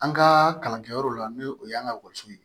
An ka kalankɛyɔrɔ la n'o o y'an ka ekɔliso ye